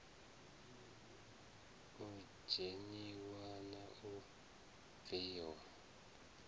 u dzheniwa na u bviwa